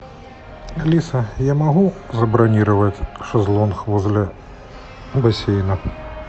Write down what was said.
алиса я могу забронировать шезлонг возле бассейна